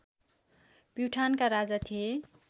प्युठानका राजा थिए